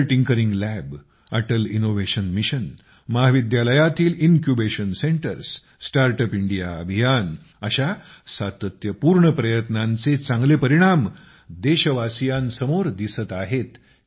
Atal tinkering lab Atal innovation mission महाविद्यालयात incubation centres startup India अभियान अशा सातत्यपूर्ण प्रयत्नांचे चांगले परिणाम देशवासियांसमोर दिसत आहेत